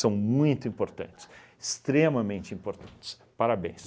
muito importantes, extremamente importantes, parabéns.